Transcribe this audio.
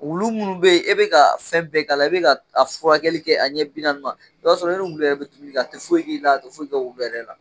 Wulu munnu be ye e bɛ kaa fɛn bɛɛ k'a la, i bɛ ka a furakɛli kɛ a ɲɛ bi naani ma, i b'a sɔrɔ ne nin wulu yɛrɛ bɛ kinni kɛ a tɛ foyi k'i la, a tɛ foyi kɛ wulu yɛrɛ la.